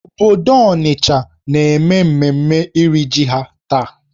Obodo Onitcha na-eme mmemme iri jì ha taa.